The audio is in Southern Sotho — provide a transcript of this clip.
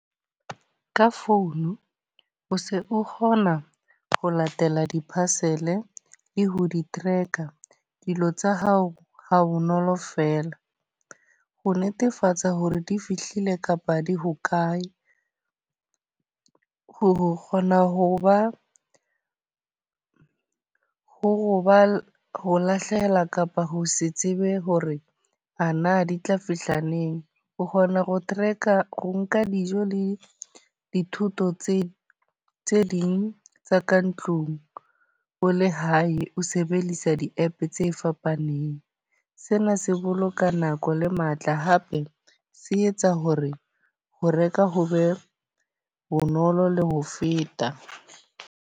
Ka phone o se o kgona ho latela di-parcel e le ho di-tracker, dilo tsa hao ha bonolo fela. Ho netefatsa hore di fihlile kapa di hokae, ho kgona ho ba ho ba le ho lahlehelwa kapa ho se tsebe hore ana di tla fihla neng. O kgona ho truck-a ho nka dijo le dithuto tse tse ding tsa ka ntlung o le hae ho sebedisa di app tse fapaneng. Sena se boloka nako le matla, hape se etsa ho re ho reka ho be bonolo le ho feta.